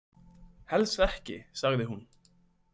Helst ekki, sagði hún.